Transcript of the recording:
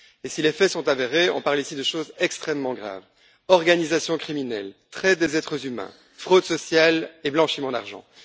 Si les faits sont avérés, on parle ici de choses extrêmement graves organisations criminelles, traite des êtres humains, fraude sociale et blanchiment d'argent.